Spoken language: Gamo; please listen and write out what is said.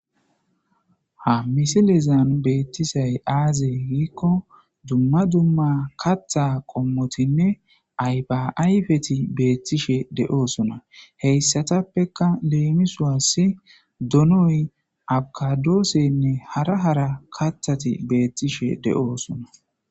ha misilezan beettisay aazey giikko dumma dumma katha qommotinne aybaayfeti beettishe de7oosona heyssatappeka leemisuas donoy abkadoosenne hara hara kathati beettishe de7oosona